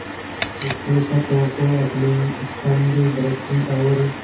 उसके क्षतों को अपनी स्निग्ध दृष्टि और